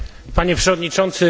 Panie przewodniczący!